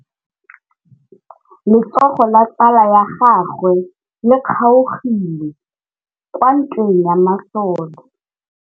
Letsôgô la tsala ya gagwe le kgaogile kwa ntweng ya masole.